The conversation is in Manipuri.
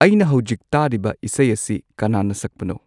ꯑꯩꯅ ꯍꯧꯖꯤꯛ ꯇꯥꯔꯤꯕ ꯏꯁꯩ ꯑꯁꯤ ꯀꯅꯥꯅ ꯁꯛꯄꯅꯣ